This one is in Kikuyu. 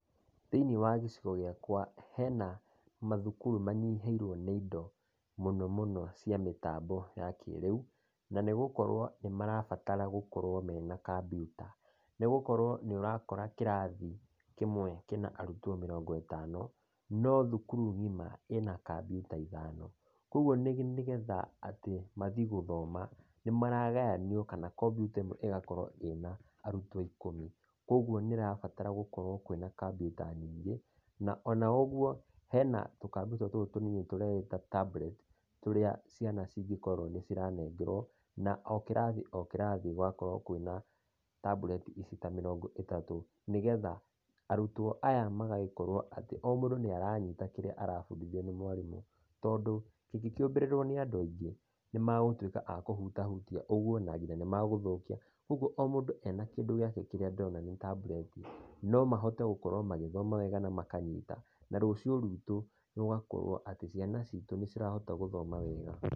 Thĩiniĩ wa gĩcigo gĩakwa hena mathukuru manyihĩirwo nĩ indo, mũno mũno cia mĩtambo ya kĩrĩũ, na nĩ gũkorwo nĩ marabatara gũkorwo mena kampiuta. Nĩgũkorwo nĩ ũrakora kĩrathi kĩmwe kĩna arutwo mĩrongo ĩtano, no thukuru ng'ima ĩna kampiuta ithano. Koguo nĩgetha atĩ mathiĩ gũthoma, nĩ maragayanio, kana kompiuta ĩmwe ĩgakorwo ĩna arutwo ĩkũmi. Koguo nĩ ĩrabatara gũkorwo na kampiuta nyingĩ, na ona ũguo, hena tũkampiuta tũtũ tũnini, tũreĩta tablet, tũrĩa ciana cingĩkorwo nĩciranengerwo, na o kĩrathi o kĩrathi gũgakorwo kwĩna tablet ici ta mĩrongo ĩtatũ, nĩgetha arutwo aya magakorwo atĩ, o mũndũ nĩ aranyita kĩrĩa arabundithio nĩ mwarimũ, tondũ kĩngĩkĩũmbĩrĩrwo nĩ andũ aingĩ, magũtuĩka a kũhutiahutia, na nginyagia nĩmegũthũkia. Ũguo o mũndũ ena kĩndũ gĩake kĩrĩa ndĩrona nĩ tablet, no mahote gũkorwo magĩthoma wega, na makanyita, na rũciũ rwitũ rũgakorwo atĩ ciana citũ nĩirahota gũthoma wega.